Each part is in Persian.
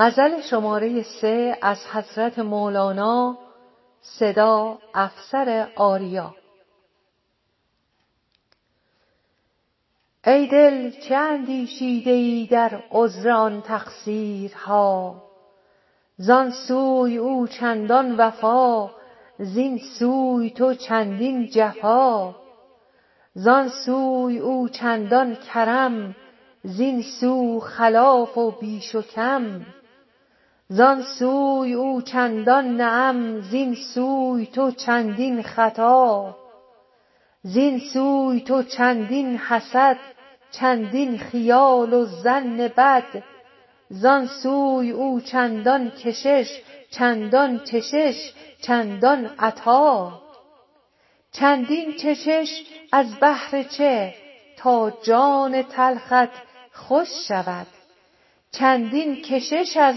ای دل چه اندیشیده ای در عذر آن تقصیرها زان سوی او چندان وفا زین سوی تو چندین جفا زان سوی او چندان کرم زین سو خلاف و بیش و کم زان سوی او چندان نعم زین سوی تو چندین خطا زین سوی تو چندین حسد چندین خیال و ظن بد زان سوی او چندان کشش چندان چشش چندان عطا چندین چشش از بهر چه تا جان تلخت خوش شود چندین کشش از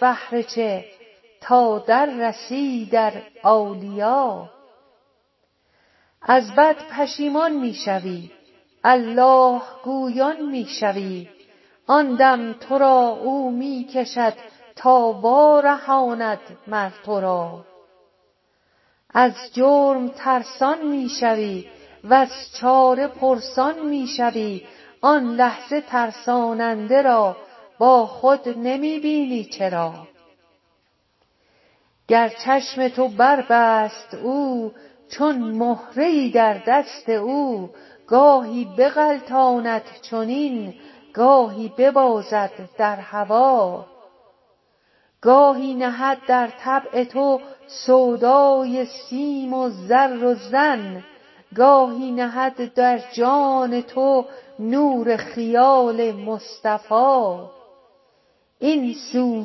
بهر چه تا در رسی در اولیا از بد پشیمان می شوی الله گویان می شوی آن دم تو را او می کشد تا وارهاند مر تو را از جرم ترسان می شوی وز چاره پرسان می شوی آن لحظه ترساننده را با خود نمی بینی چرا گر چشم تو بربست او چون مهره ای در دست او گاهی بغلطاند چنین گاهی ببازد در هوا گاهی نهد در طبع تو سودای سیم و زر و زن گاهی نهد در جان تو نور خیال مصطفیٰ این سو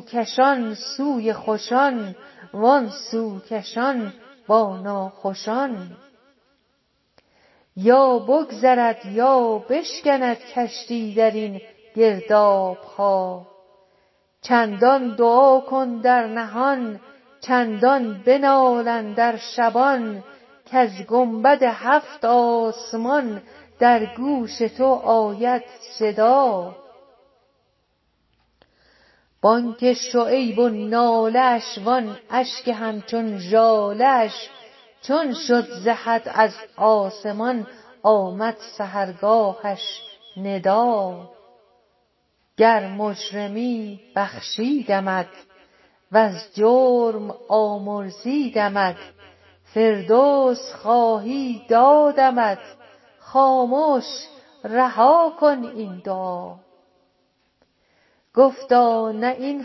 کشان سوی خوشان وان سو کشان با ناخوشان یا بگذرد یا بشکند کشتی در این گرداب ها چندان دعا کن در نهان چندان بنال اندر شبان کز گنبد هفت آسمان در گوش تو آید صدا بانگ شعیب و ناله اش وان اشک همچون ژاله اش چون شد ز حد از آسمان آمد سحرگاهش ندا گر مجرمی بخشیدمت وز جرم آمرزیدمت فردوس خواهی دادمت خامش رها کن این دعا گفتا نه این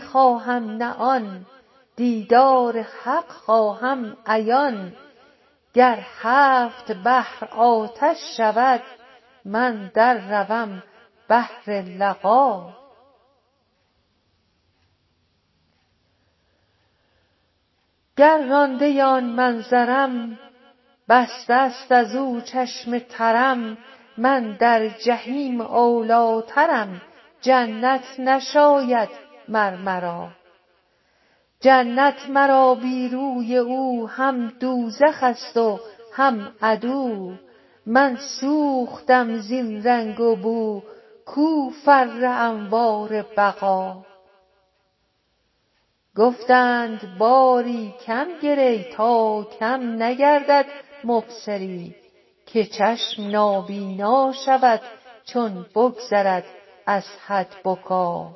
خواهم نه آن دیدار حق خواهم عیان گر هفت بحر آتش شود من در روم بهر لقا گر رانده آن منظرم بسته است از او چشم ترم من در جحیم اولی ٰترم جنت نشاید مر مرا جنت مرا بی روی او هم دوزخ ست و هم عدو من سوختم زین رنگ و بو کو فر انوار بقا گفتند باری کم گری تا کم نگردد مبصری که چشم نابینا شود چون بگذرد از حد بکا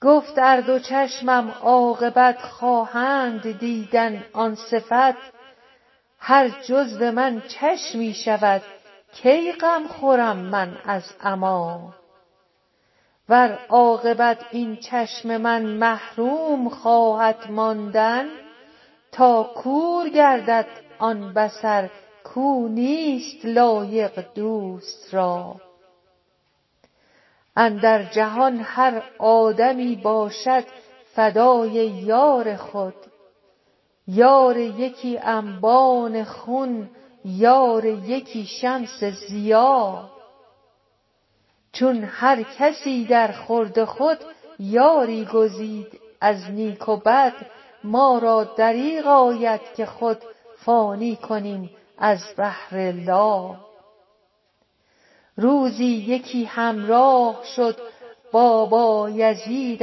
گفت ار دو چشمم عاقبت خواهند دیدن آن صفت هر جزو من چشمی شود کی غم خورم من از عمیٰ ور عاقبت این چشم من محروم خواهد ماندن تا کور گردد آن بصر کو نیست لایق دوست را اندر جهان هر آدمی باشد فدای یار خود یار یکی انبان خون یار یکی شمس ضیا چون هر کسی درخورد خود یاری گزید از نیک و بد ما را دریغ آید که خود فانی کنیم از بهر لا روزی یکی همراه شد با بایزید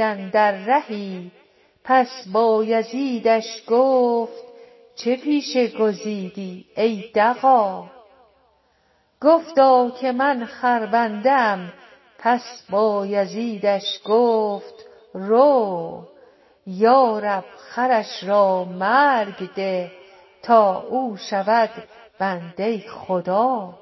اندر رهی پس بایزیدش گفت چه پیشه گزیدی ای دغا گفتا که من خربنده ام پس بایزیدش گفت رو یا رب خرش را مرگ ده تا او شود بنده خدا